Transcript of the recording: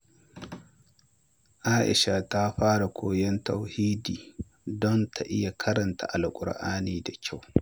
Aisha ta fara koyon Tajwidi don ta iya karanta Alƙur’ani da kyau.